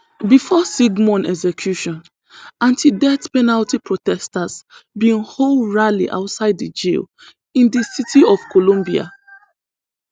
bifor sigmon execution antideath penalty protesters bin hold rally outside di jail in di city of columbia